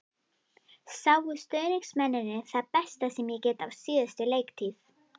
Sáu stuðningsmennirnir það besta sem ég get á síðustu leiktíð?